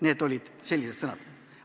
Need olid sellised sõnad.